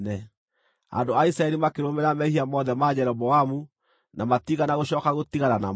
Andũ a Isiraeli makĩrũmĩrĩra mehia mothe ma Jeroboamu, na matiigana gũcooka gũtigana namo,